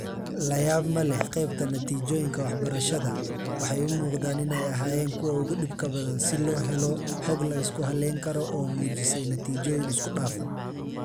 La yaab ma leh, qaybta 'natiijooyinka waxbarashada' waxay u muuqdaan inay ahaayeen kuwa ugu dhibka badan si loo helo xog la isku halleyn karo oo muujisay natiijooyin isku dhafan.